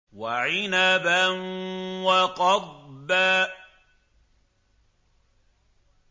وَعِنَبًا وَقَضْبًا